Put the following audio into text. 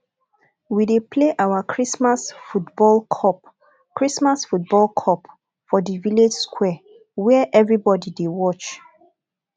we dey play our christmas football cup christmas football cup for di village square where everybodi dey watch